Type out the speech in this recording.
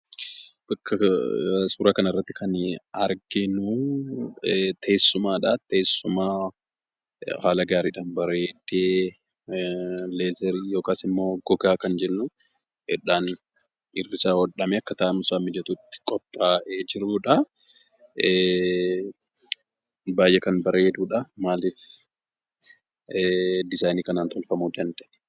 Bakka suura kana irratti kan arginu teessumaadhaa. Teessuma haala gaariidhaan bareedee leezerii yookaan immoo gogaa kan jennudhaan irri isaa hodhamee akka taa'umsaaf mijatutti qophaa'ee jirudha, baay'ees kan bareedudha. Maalif disaayinii kanaan tolfamuu danda'e?